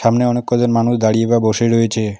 সামনে অনেক কজন মানুষ দাঁড়িয়ে বা বসে রয়েছে।